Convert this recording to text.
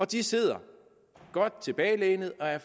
de sidder godt tilbagelænet og er